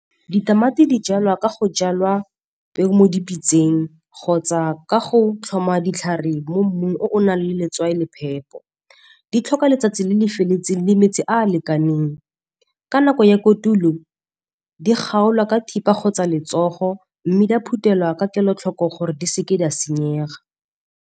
Ditamati di jalwa ka go jalwa peo mo dipitsang kgotsa ka go tlhoma ditlhare mo mmung o o nang le letswai le phepo. Di tlhoka letsatsi le le feletseng le metsi a a lekaneng. Ka nako ya kotulo, di kgaolwa ka thipa kgotsa letsogo, mme di a phutela ka kelotlhoko gore di seke di a senyega.